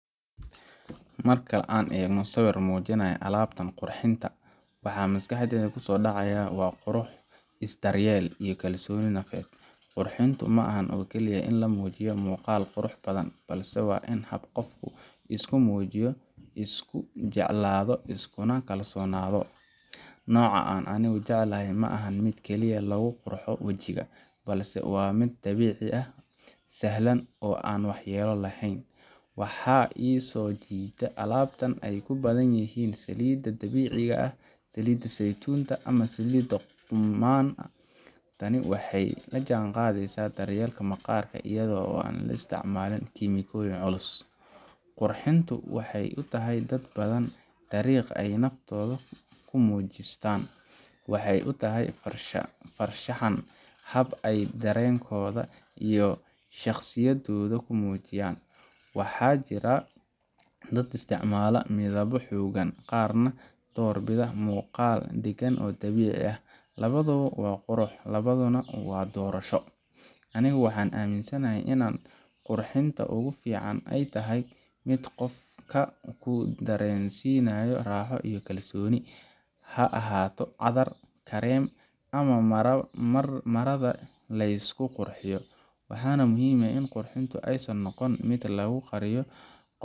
Marka an egno sawir mujinayo alabtan qurxinta, waxa maskaxdeyda kusodacaya wa qurux isdalyel iyo kalsoni nadef, qurxintu maahan oo kaliye in lamujiyo muqaal qurux badan balse in hab gofku iskumujiyo, iskunakalsonado, noca an anigu jeclahay maxan mid kaliye laguqurxo wajiga, balse wa mid dabici ah salhan oo an waxyelo lehen, waxa isojitaa alabtan ay kubadanyixin salida dabiciga ah, salida saytunta ama salida gunbaha, daman taani waxay lajangadeysa daryelka maqarka iyado aan laisticmalin shaqoyin culus, qurxintu waxay utaxay dad badan k dariq ay dad badan kumujistaan, waxay utaxay farshahanka hab ay darenkoda iyo shagsiyadoda kumujiyan, waxa jiraa dad isticmala midabo hogan gaar nah dorbida muqaal dagan oo dabici ah, lawadawo wa qurux, lawaduna wa hulasho, anigu waxan aminsanyahay inan qurxinta oo gufican ay tahay mid gofka kudarensinayo rahoo iyo kalsoni, haahato cadar, kareem ama maroo, marada laysku qurxiyo, waxana muxiim ah intu aysan nogon laqugoriyo.